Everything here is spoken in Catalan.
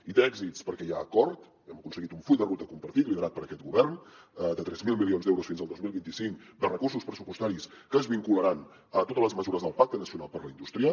i té èxits perquè hi ha acord hem aconseguit un full de ruta compartit liderat per aquest govern de tres mil milions d’euros fins al dos mil vint cinc de recursos pressupostaris que és vincularan a totes les mesures del pacte nacional per a la indústria